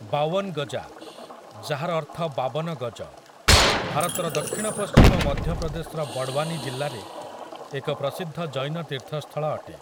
ବାୱନ୍‍ଗଜା, ଯାହାର ଅର୍ଥ ବାବନ ଗଜ, ଭାରତର ଦକ୍ଷିଣପଶ୍ଚିମ ମଧ୍ୟପ୍ରଦେଶର ବଡ଼ୱାନୀ ଜିଲ୍ଲାରେ ଏକ ପ୍ରସିଦ୍ଧ ଜୈନ ତୀର୍ଥସ୍ଥଳ ଅଟେ।